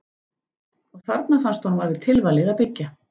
Og þarna fannst honum alveg tilvalið að byggja.